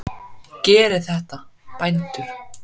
Gerið þetta, bændur!